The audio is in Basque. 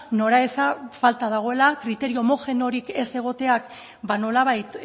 nora eza falta dagoela kriterio homogeneorik ez egoteak nolabait